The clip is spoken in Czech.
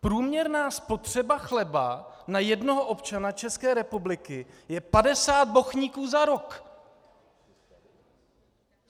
Průměrná spotřeba chleba na jednoho občana České republiky je 50 bochníků za rok.